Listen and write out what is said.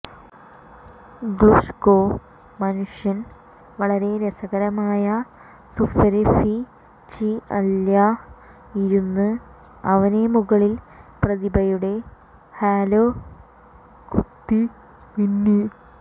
Glushko മനുഷ്യൻ വളരെ രസകരമായ സുപെര്ഫിചിഅല്ല്യ് ഇരുന്നു അവനെ മുകളിൽ പ്രതിഭയുടെ ഹാലോ കുതി മിന്നി